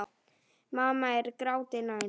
Mamma er gráti nær.